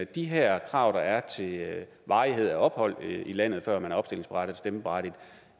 de her krav der er til varighed af ophold i landet før man